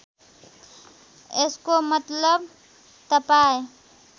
यसको मतलब तपाईँ